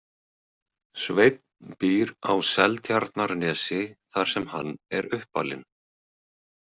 Sveinn býr á Seltjarnarnesi þar sem hann er uppalinn.